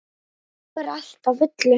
Nú er allt á fullu.